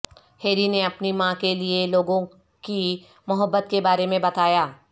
Harry نے اپنی ماں کے لئے لوگوں کی محبت کے بارے میں بتایا